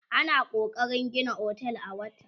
ana kokarin Gina otel a wata